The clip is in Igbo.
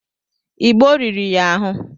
Igbo rìrì ya ahụ.